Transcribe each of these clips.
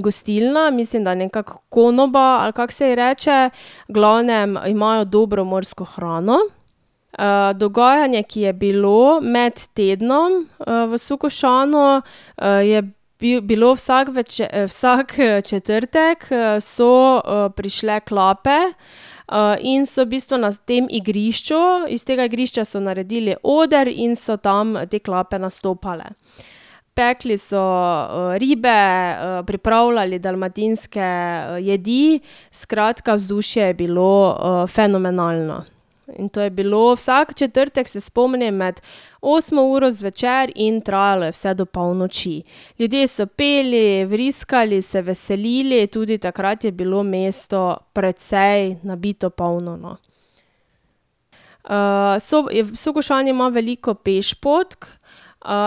gostilna, mislim, da je nekako konoba, ali kako se ji reče, v glavnem imajo dobro morsko hrano. dogajanje, ki je bilo med tednom v Sukošanu, je bilo vsak vsak, četrtek, so prišle klape, in so v bistvu na tem igrišču, iz tega igrišča so naredili oder in so tam, te klape nastopale. Pekli so, ribe, pripravljali dalmatinske, jedi, skratka, vzdušje je bilo, fenomenalno. In to je bilo vsak četrtek, se spomnim, med osmo uro zvečer in trajalo je vse do polnoči. Ljudje so peli, vriskali, se veselili, tudi takrat je bilo mesto precej nabito polno, no. Sukošan ima veliko pešpoti.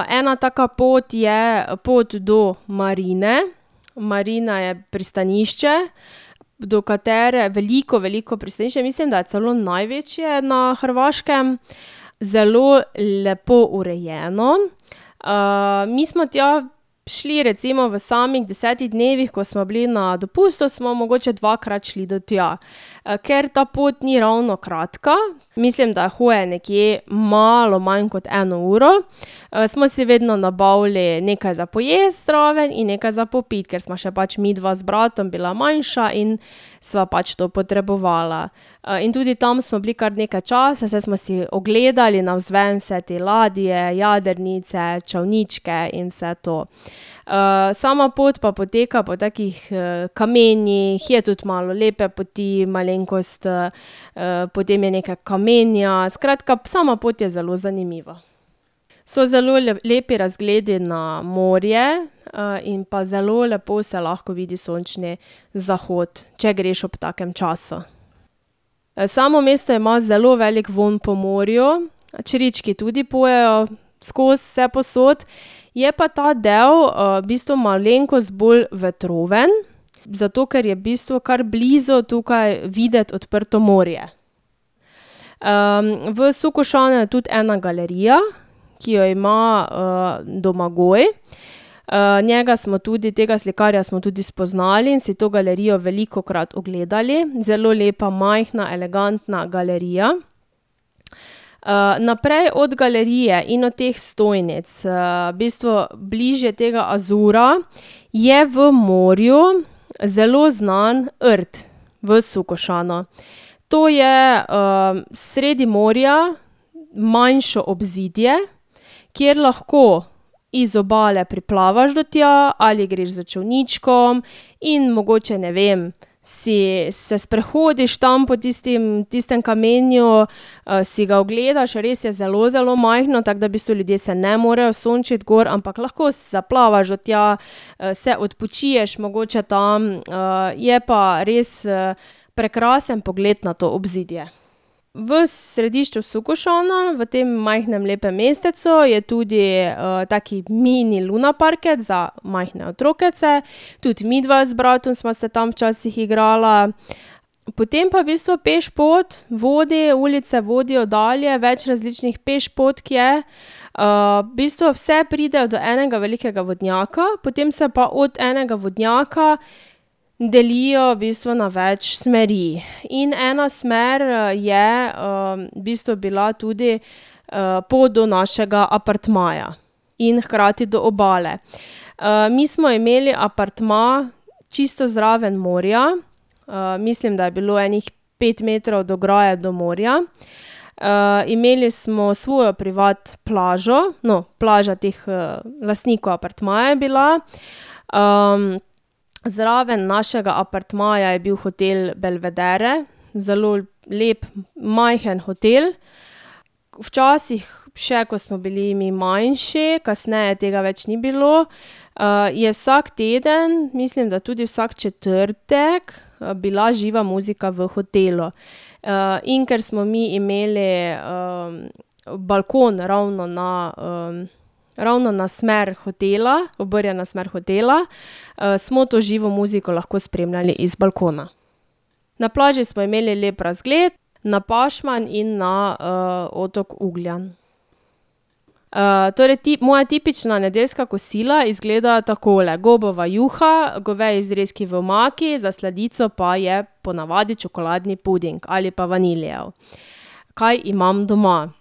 ena taka pot je pot do marine, marina je pristanišče, do katere, veliko, veliko pristanišče, mislim, da je celo največje na Hrvaškem, zelo lepo urejeno. mi smo tja šli recimo v samih desetih dnevih, ko smo bili na dopustu, smo mogoče dvakrat šli tja, ker ta pot ni ravno kratka, mislim, da je hoje nekje malo manj kot eno uro, smo si vedno nabavili nekaj za pojesti zraven in nekaj za popiti, ker sva še pač midva z bratom bila manjša in sva pač to potrebovala. in tudi tam smo bili kar nekaj časa, saj smo si ogledali navzven vse te ladje, jadrnice, čolničke in vse to. sama pot pa poteka po takih, kamenjih, je tudi malo lepe poti, malenkost, potem je nekaj kamenja, skratka, sama pot je zelo zanimiva. So zelo lepi razgledi na morje, in pa zelo lepo se lahko vidi sončni zahod, če greš ob takem času. Samo mesto ima zelo velik vonj po morju, črički tudi pojejo skozi, vsepovsod. Je pa ta del, v bistvu malenkost bolj vetroven, zato ker je v bistvu kar blizu tukaj videti odprto morje. v Sukošanu je tudi ena galerija, ki jo ima, Domagoj. njega smo tudi, tega slikarja smo tudi spoznali in si to galerijo velikokrat ogledali. Zelo lepa, majhna, elegantna galerija. naprej od galerije in od teh stojnic, v bistvu bliže tega Azura, je v morju zelo znan rt v Sukošanu. To je, sredi morja, manjše obzidje, kjer lahko iz obale priplavaš do tja ali greš s čolničkom in mogoče, ne vem, se sprehodiš tam po tistem kamenju, si ga ogledaš, res je zelo zelo majhno, tako da v bistvu ljudje se ne morejo sončiti gor, ampak lahko zaplavaš do tja, se odpočiješ mogoče tam, je pa res, prekrasen pogled na to obzidje. V središču Sukošana, v tem majhnem, lepem mestecu, je tudi, tak mini lunaparkec za majhne otrokece. Tudi midva z bratom sva se tam včasih igrala. Potem pa v bistvu pešpot vodi, ulice vodijo dalje, več različnih pešpotk je. v bistvu vse pridejo do enega velikega vodnjaka, potem se pa od enega vodnjaka delijo v bistvu na več smeri. In ena smer je, v bistvu bila tudi, pot do našega apartmaja in hkrati do obale. mi smo imeli apartma čisto zraven morja, mislim, da je bilo ene pet metrov od ograje do morja. imeli smo svojo privat plažo. No, plaža teh, lastnikov apartmaja je bila. zraven našega apartmaja je bil hotel Belvedere, zelo lep majhen hotel. Včasih še, ko smo bili mi manjši, kasneje tega več ni bilo, je vsak teden, mislim, da tudi vsak četrtek, bila živa muzika v hotelu. in ker smo mi imeli, balkon ravno na, ravno na smer hotela, obrnjeno na smer hotela, smo to živo muziko lahko spremljali z balkona. Na plaži smo imeli lep razgled na Pašman in na, otok Ugljan. torej moja tipična nedeljska kosila izgledajo takole: gobova juha, goveji zrezki v omaki, za sladico pa je po navadi čokoladni puding ali pa vanilijev. Kaj imam doma.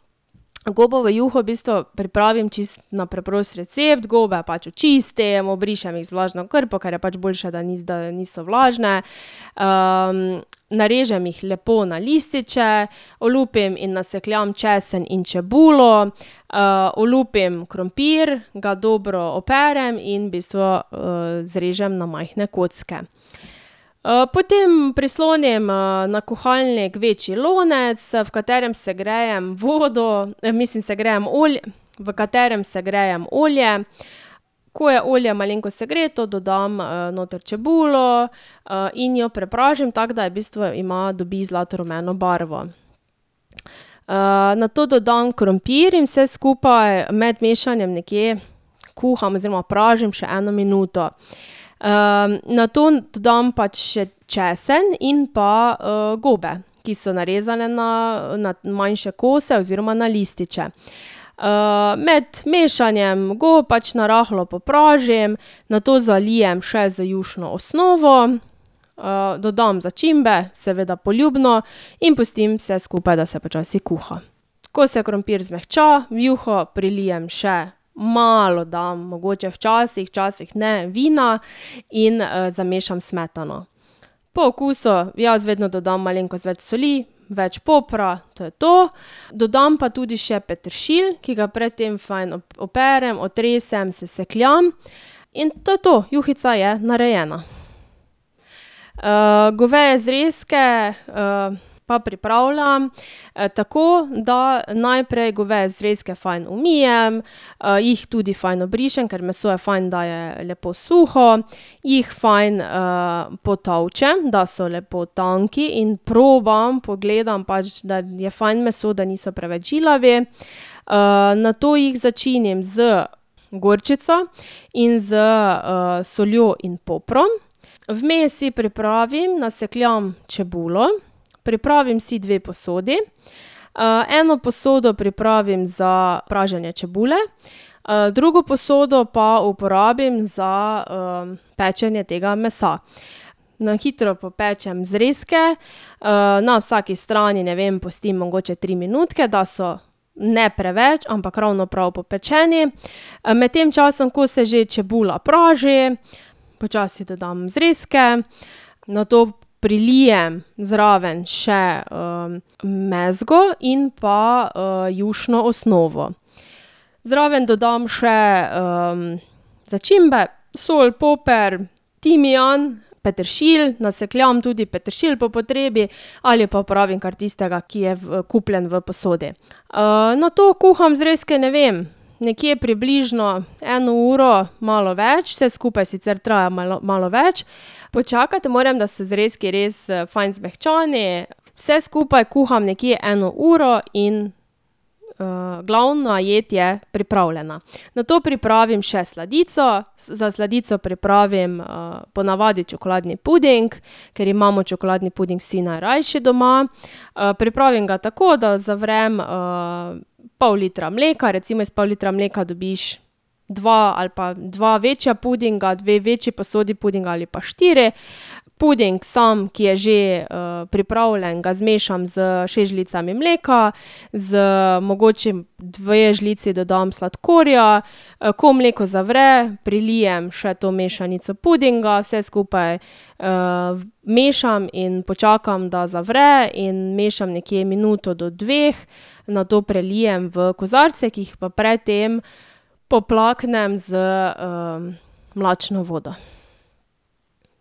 Gobovo juho v bistvu pripravim čisto na preprost recept. Gobe pač očistim, obrišem jih z vlažno krpo, ker je pač boljše, da da niso vlažne, narežem jih lepo na lističe, olupim in nasekljam česen in čebulo, olupim krompir, ga dobro operem in v bistvu, zrežem na majhne kocke. potem prislonim, na kuhalnik večji lonec, v katerem segrejem vodo, mislim, segrejem v katerem segrejem olje. Ko je olje malenkost segreto, dodam, noter čebulo, in jo prepražim, tako da v bistvu ima, dobi zlatorumeno barvo. nato dodam krompir in vse skupaj med mešanjem nekje kuham oziroma pražim še eno minuto. nato dodam pač še česen in pa, gobe, ki so narezane na, na manjše kose oziroma na lističe. med mešanjem gob pač narahlo popražim, nato zalijem še z jušno osnovo, dodam začimbe, seveda poljubno, in pustim vse skupaj, da se počasi kuha. Ko se krompir zmehča, v juho prilijem še malo dam, mogoče včasih, včasih ne, vina in, zamešam smetano. Po okusu jaz vedno dodam malenkost več soli, več popra, to je to. Dodam pa tudi še peteršilj, ki ga pred tem fajn operem, otresem, sesekljam, in to je to, juhica je narejena. goveje zrezke, pa pripravljam, tako, da najprej goveje zrezke fajn umijem, , jih tudi fajn obrišem, ker meso je fajn da, je lepo suho jih fajn, potolčem, da so lepo tanki, in probam, pogledam pač, da je fajn meso, da niso preveč žilavi. nato jih začinim z gorčico in s, soljo in poprom. Vmes si pripravim, nasekljam čebulo, pripravim si dve posodi, eno posodo pripravim za praženje čebule, drugo posodo pa uporabim za, pečenje tega mesa. Na hitro popečem zrezke, na vsaki strani, ne vem, pustim mogoče tri minutke, da so ne preveč, ampak ravno prav popečeni, med tem časom, ko se že čebula praži, počasi dodam zrezke, nato prilijem zraven še, mezgo in pa, jušno osnovo. Zraven dodam še, začimbe, sol, poper, timijan, peteršilj, nasekljam tudi peteršilj po potrebi ali pa uporabim kar tistega, ki je kupljen v posodi. nato kuham zrezke, ne vem, nekje približno eno uro, malo več. Vse skupaj sicer traja malo več. Počakati morem, da so zrezki res, fajn zmehčani. Vse skupaj kuham nekje eno uro in, glavna jed je pripravljena. Nato pripravim še sladico. Za sladico pripravim, po navadi čokoladni puding, kar imamo čokoladni puding vsi najrajši doma. pripravim ga tako, da zavrem, pol litra mleka, recimo iz pol litra mleka dobiš dva ali pa dva večja pudinga, dve večji posodi pudinga ali pa štiri. Puding samo, ki je že, pripravljen, ga zmešam s šest žlicami mleka, za mogoče dve žlici dodam sladkorja. ko mleko zavre, prilijem še to mešanico pudinga. Vse skupaj, vmešam in počakam, da zavre, in mešam nekje minuto do dveh, nato prelijem v kozarce, ki jih pa pred tem poplaknem z, mlačno vodo.